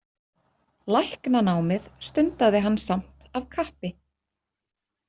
Læknanámið stundaði hann samt af kappi.